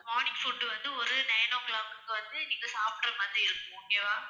morning food வந்து ஒரு nine o'clock க்கு வந்து நீங்க சாப்பிடுற மாதிரி இருக்கும். okay வா